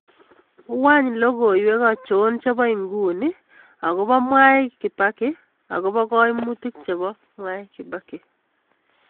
Wany logiywek achon chebo nguni agobo mwai kibaki agobo kaimutik chebo mwai kibaki